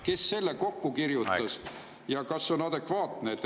Kes selle kokku kirjutas ja kas see on adekvaatne?